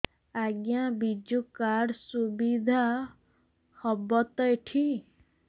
ଆଜ୍ଞା ବିଜୁ କାର୍ଡ ସୁବିଧା ହବ ତ ଏଠି